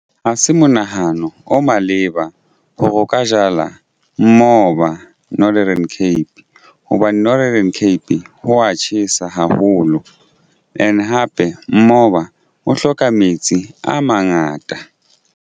Ha se monahano o maleba hore o ka jala moba Northern Cape hobane Northern Cape ho wa tjhesa haholo and hape moba o hloka metsi a mangata.